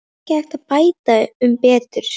Það er ekki hægt að bæta um betur.